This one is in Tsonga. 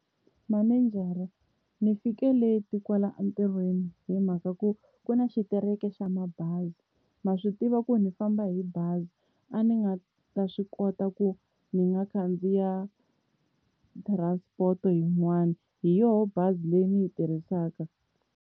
Manejara ni fike leti kwala entirhweni hi mhaka ku ku na xitereke xa mabazi, ma swi tiva ku ndzi famba hi bazi a ni nga ta swi kota ku ndzi nga khandziya transport yin'wani hi yoho bazi leyi ni yi tirhisaka.